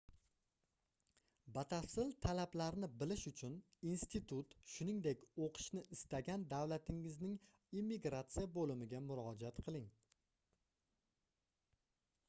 batafsil talablarni bilish uchun institut shuningdek oʻqishni istagan davlatingizning immigratsiya boʻlimiga murojaat qiling